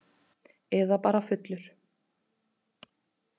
Eða bara fullur.